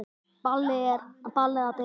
Ballið að byrja.